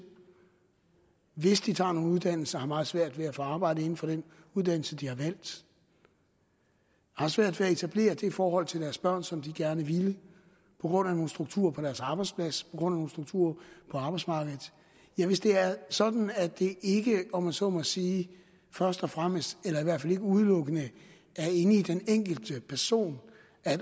hvis de tager nogle uddannelser og har meget svært ved at få arbejde inden for den uddannelse de har valgt har svært ved at etablere det forhold til deres børn som de gerne ville på grund af nogle strukturer på deres arbejdsplads på grund af nogle strukturer på arbejdsmarkedet ja hvis det er sådan at det ikke om man så må sige først og fremmest eller i hvert fald ikke udelukkende er inde i den enkelte person